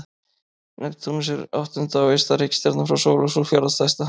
Neptúnus er áttunda og ysta reikistjarnan frá sól og sú fjórða stærsta.